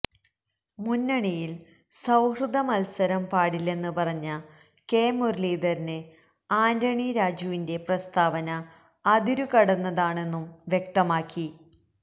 മുന്നണിയില് സൌഹൃദമത്സരം പാടില്ലെന്ന് പറഞ്ഞ കെ മുരളീധരന് ആന്റണി രാജുവിന്റെ പ്രസ്താവന അതിരു കടന്നതാണെന്നും വ്യക്തമാക്കി